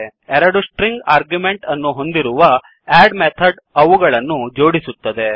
ಎರಡು string argument ಅನ್ನು ಹೊಂದಿರುವ ಅಡ್ ಮೆಥಡ್ ಅವುಗಳನ್ನು ಜೋಡಿಸುತ್ತದೆ